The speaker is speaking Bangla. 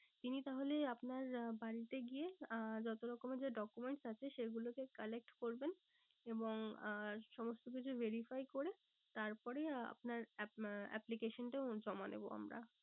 তিনি তাহলে আপনার আহ বাড়িতে গিয়ে আহ যত রকমের যা documents আছে সেগুলোকে collect করবেন। এবং আহ সমস্ত কিছু verify করে তার পরেই আপনার application টা জমা নেবো আমরা।